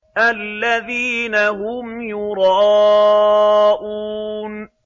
الَّذِينَ هُمْ يُرَاءُونَ